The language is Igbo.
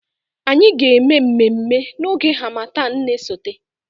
Anyị ga-eme mmemme na oge harmattan na-esote